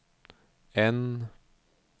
N